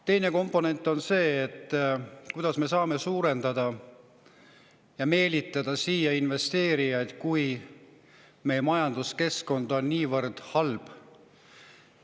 Teine komponent on see, et kuidas me saame meelitada siia rohkem investeerijaid, kui meie majanduskeskkond on niivõrd halb.